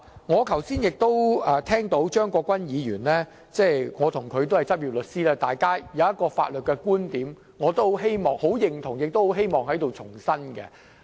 我剛才也聽到張國鈞議員的發言，我們兩人均是執業律師，他有一個法律觀點，我也十分認同，亦希望在這裏重申。